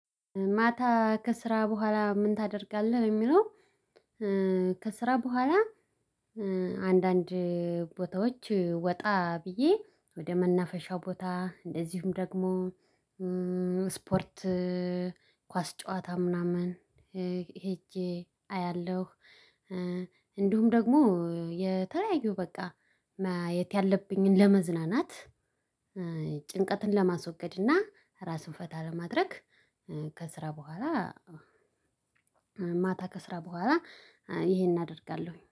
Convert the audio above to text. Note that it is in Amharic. ማታ ከስራ በኋላ ምን ታደርጋለህ የሚለው? ከስራ በኋላ አንዳንድ ቦታዎች ወጣ ብዬ ወደ መናፈሻው ቦታ እንደዚሁም ደግሞ ስፖርት ኳስ ጨዋታ ምናምን ሄጄ አያለሁ። እንዲሁም ደግሞ የተለያዩ በቃ የት ያለብኝን ለመዝናናት ጭንቀትን ለማስወገድ እና ራስን ፈታ ለማድረግ። ከስራ በኋላ ማታ ከስራ በኋላ ይሄን አደርጋለሁኝ